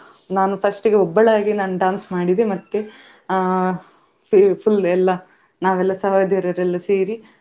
ನಾನು first ಗೆ ಒಬ್ಬಳೇ ಆಗಿ ನಾನ್ dance ಮಾಡಿದೆ ಅಹ್ full full ಎಲ್ಲ ನಾವೆಲ್ಲ ಸಹೋದರಿಯರೆಲ್ಲ ಸೇರಿ.